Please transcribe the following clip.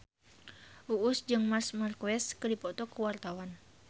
Uus jeung Marc Marquez keur dipoto ku wartawan